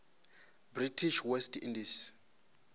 british west indies